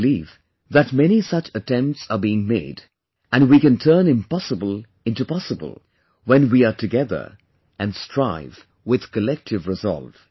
I believe that many such attempts are being made and we can turn impossible in to possible when we are together and strive with collective resolve